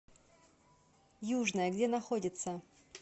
южная где находится